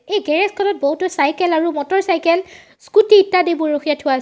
এই গেৰেজ খনত বহুতো চাইকেল আৰু মটৰচাইকেল স্কুটী ইত্যাদিবোৰ ৰখিয়াই থোৱা আছে।